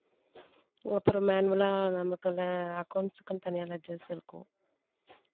அப்புறம் manual ஆ நமக்கு accounts க்குன்னு தனியா ledgers இருக்கும்